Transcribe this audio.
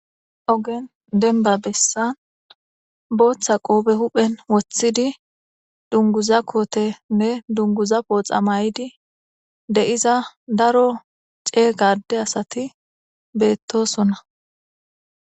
Ogen denba bessan booththa qoobe huphen woththidi dunguza kootenne dunguza pooxa may'di de'iza daro cee gade asati beettosonna.